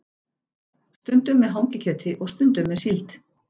Stundum með hangikjöti og stundum með síld.